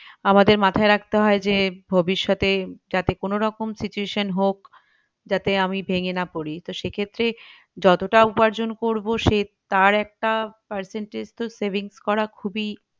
আমাদের মাথায় রাখতে হয় যে ভবিষৎতে যাতে কোনোরকম situation হোক যাতে আমি ভেঙে না পড়ি তো সেক্ষেত্রে যতটা উপার্জন করবো সে তার একটা percentage তো savings করা খুবিই